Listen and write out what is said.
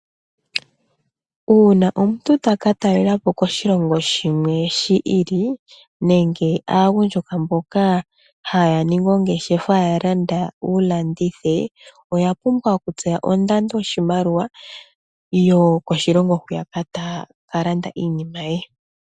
Uuna omuntu taka talelepo koshilongo shimwe shi ili nenge aagundjuka mboka haya ningi oongeshefa ya landa wu landithe oya pumbwa okutseya ondando yoshimaliwa yokoshilongo hoka taya ka landa iinima ye.